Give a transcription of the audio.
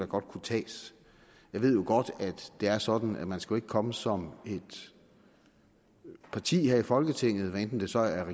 godt kunne tages jeg ved jo godt at det er sådan at man ikke skal komme som et parti her i folketinget hvad enten det så er